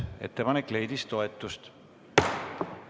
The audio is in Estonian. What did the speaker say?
Ettepanek leidis toetust.